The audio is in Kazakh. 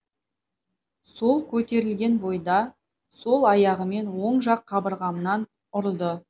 сол көтерілген бойда сол аяғымен оң жақ қабырғамнан ұрды